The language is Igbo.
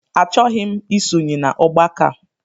Achọghị m ịsonye n'ọgbakọ a